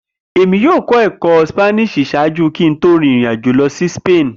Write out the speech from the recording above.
Emi yoo kọ ẹkọ Spani ṣaaju ki Mo to rin irin ajo lọ si Spain.